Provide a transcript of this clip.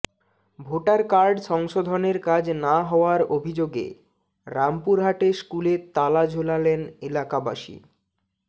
voter card সংশোধনের কাজ না হওয়ার অভিযোগে রামপুরহাটে স্কুলে তালা ঝোলালেন এলাকাবাসী